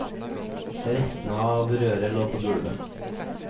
Restene av røret lå på gulvet.